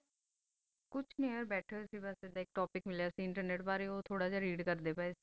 ਕੁਛ ਨਹੀ ਬਸ ਭਠੀ ਸੇ ਇਧ ਆਈ topic ਮਿਲਾ ਸੇ internet ਬਰੀ ਬਸ read ਕਰ ਰਹੀ ਸੇ ਗੀ